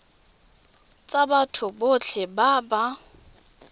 tsa batho botlhe ba ba